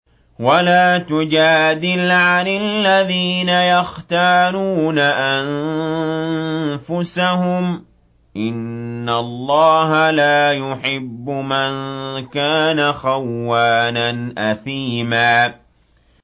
وَلَا تُجَادِلْ عَنِ الَّذِينَ يَخْتَانُونَ أَنفُسَهُمْ ۚ إِنَّ اللَّهَ لَا يُحِبُّ مَن كَانَ خَوَّانًا أَثِيمًا